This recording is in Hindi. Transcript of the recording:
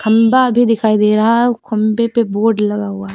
खंबा भी दिखाई दे रहा है आउ खंबे पे बोर्ड लगा हुआ--